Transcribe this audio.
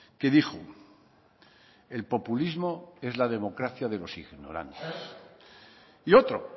que dijo el populismo es la democracia de los ignorantes y otro